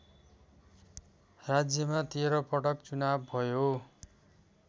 राज्यमा १३ पटक चुनाव भयो